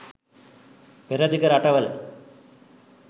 පෙරදිග රටවල